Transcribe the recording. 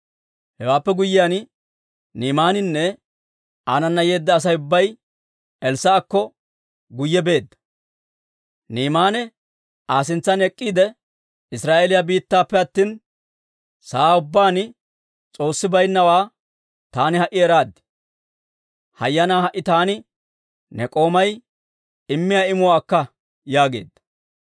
Hewaappe guyyiyaan, Ni'imaaninne aanana yeedda Asay ubbay Elssaa'akko guyye beedda. Ni'imaane Aa sintsan ek'k'iide, «Israa'eeliyaa biittanappe attina, sa'aa ubbaan S'oossi baynnawaa taani ha"i eraad. Hayyanaa ha"i taani ne k'oomay immiyaa imuwaa akka!» yaageedda.